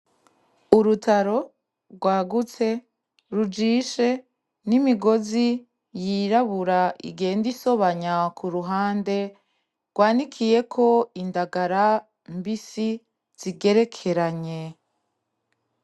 Urutaro rwagutse rujishe n'imigozi yirabura igenda isobanya kuruhande rwanikiyeko indagara mbisi zigerekeranye .